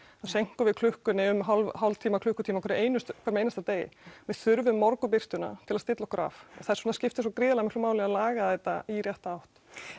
þá seinkum við klukkunni um hálftíma klukkutíma á hverjum einasta hverjum einasta degi við þurfum morgunbirtuna til að stilla okkur af þess vegna skiptir svo gríðarlega miklu máli að laga þetta í rétta átt